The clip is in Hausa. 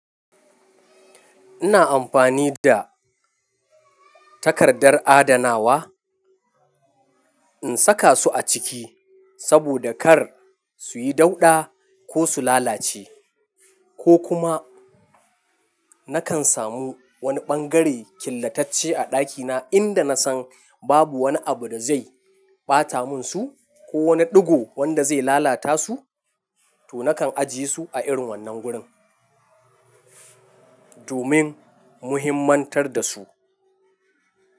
Ina amfani da takardar adanawa in saka su a ciki saboda kar su yi dauɗa, ko su lalace, ko kuma nakan samu wani ɓangare killatacce a ɗakina, inda na san babu wani abu da zai ɓata mun su, ko wani ɗigo wanda zai lalata su to nakan ajiye su a irin wannan gurin domin muhimantar da su.